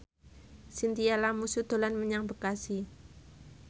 Chintya Lamusu dolan menyang Bekasi